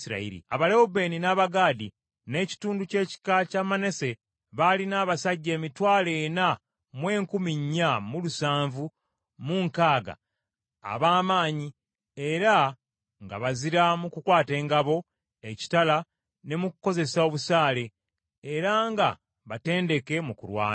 Abalewubeeni, n’Abagaadi, n’ekitundu ky’ekika kya Manase baalina abasajja emitwalo ena mu enkumi nnya mu lusanvu mu nkaaga, ab’amaanyi era nga bazira mu kukwata engabo, ekitala, ne mu kukozesa obusaale, era nga batendeke mu kulwana.